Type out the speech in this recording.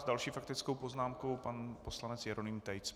S další faktickou poznámkou pan poslanec Jeroným Tejc.